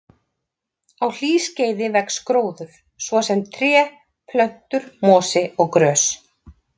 Á hlýskeiði vex gróður, svo sem tré, plöntur, mosi og grös.